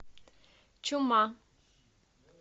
чума